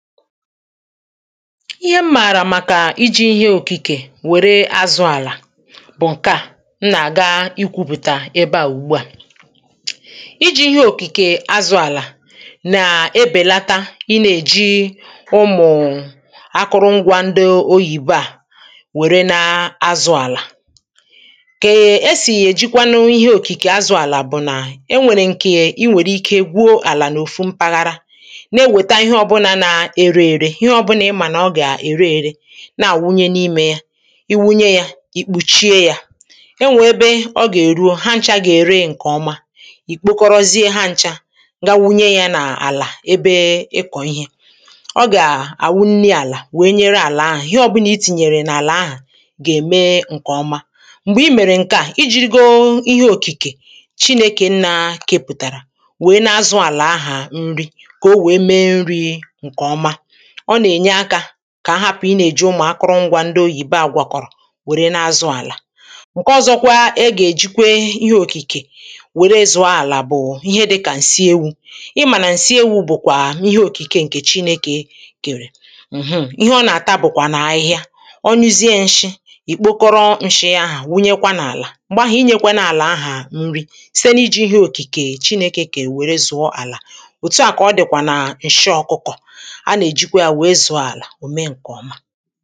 ihe mmàrà màkà iji ihe òkìkè wère azụ̇ àlà bụ̀ ǹkè a m na-àga ikwupùta ebe àwùgbu à iji ihe òkìkè azụ̀ àlà na-ebèlata i nà-èji ụmụ̀ akụrụngwȧ ndo oyìbo à wère na azụ̀ àlà kè esì èjikwa n’onye ihe òkìkè azụ̀ àlà bụ̀ nà e nwèrè ǹkè i nwèrè ike gwuo àlà n’òfu mpaghara ihe ọ̀bụlà ịmà nà ọ gà-ère ėre na àwunye n’imė ya iwunye yȧ ì kpùchie yȧ e nwè ebe ọ gà-èruo, ha nchȧ gà-ère ǹkè ọma ì kpekọrọzie ha nchȧ ga wunye yȧ n’àlà ebe ị kọ̀ ihė ọ gà-àwunni àlà wèe nyere àlà ahụ̀ ihe ọ̀bụlà i tìnyèrè n’àlà ahụ̀ gà-ème ǹkè ọma m̀gbè i mèrè ǹke a i jiri go ihe òkìkè chinėkè nà-kepụ̀tàrà wee na-azụ àlà ahụ̀ nri kà o wèe mee nri̇ ǹkè ọma ọ nà-ènye akȧ kà a hapụ̀ ị nà-èji ụmụ̀ akọrọ ngwȧ ndo oyìbe àgwà kọ̀rọ̀ wère na-azụ àlà ǹke ọ̀zọkwa ọ gà-èji kwe ihe òkìkè wère zụ̀ọ àlà bụ̀ ihe dịkà ǹsi ewu̇ ị mà nà ǹsi ewu bụ̀kwà ihe òkìkè ǹkè chinėkè èkè èrè ǹhụm̀ ihe ọ nà-àta bụ̀kwà nà ahịhịa onyezie nshi ì kpokọrọ nshi ahà wunyekwa n’àlà m̀gbè ahụ̀ ị nyekwa n’àlà ahà nri site n’iji ihe òkìkè chinėkè kà èwère zụ̀ọ àlà òtu à kà ọ dị̀kwà nà ǹshi ọkụkọ̀ òme ǹkè ọma